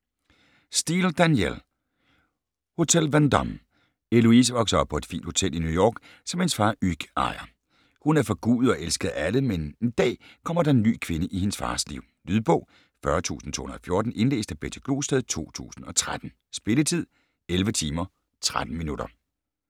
Steel, Danielle: Hotel Vendôme Heloise vokser op på et fint hotel i New York, som hendes far Hugues ejer. Hun er forgudet og elsket af alle, men en dag kommer der en ny kvinde i hendes fars liv. Lydbog 40214 Indlæst af Betty Glosted, 2013. Spilletid: 11 timer, 13 minutter.